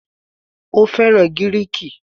Ó fẹ́ràn Gíríìkì.